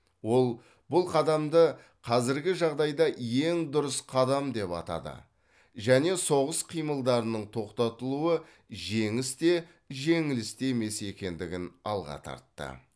ол бұл қадамды қазіргі жағдайда ең дұрыс қадам деп атады және соғыс қимылдарының тоқтатылуы жеңіс те жеңіліс те емес екендігін алға тартты